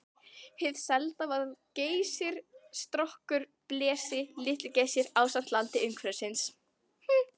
Hið selda var Geysir, Strokkur, Blesi, Litli-Geysir ásamt landi umhverfis.